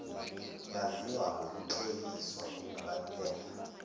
yaziwa ngokukleliswa kokubaluleka